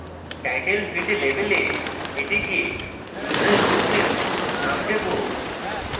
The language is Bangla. title field label we এটিকে user group name name দেবো